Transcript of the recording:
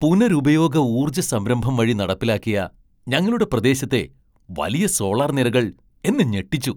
പുനരുപയോഗ ഊർജ സംരംഭം വഴി നടപ്പിലാക്കിയ ഞങ്ങളുടെ പ്രദേശത്തെ വലിയ സോളാർ നിരകൾ എന്നെ ഞെട്ടിച്ചു.